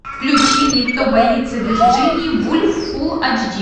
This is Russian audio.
включи мне кто боится вирджинии вульф фулл ач ди